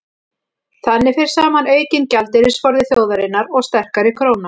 þannig fer saman aukinn gjaldeyrisforði þjóðarinnar og sterkari króna